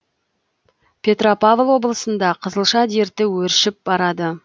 петропавл облысында қызылша дерті өршіп барады